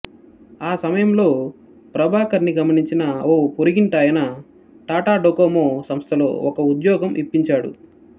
ఆ సమయంలో ప్రభాకర్ ని గమనించిన ఓ పొరుగింటాయన టాటా డొకోమో సంస్థలో ఓ ఉద్యోగం ఇప్పించాడు